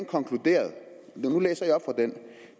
konkluderet